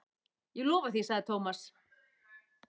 Ég lofa því sagði Thomas.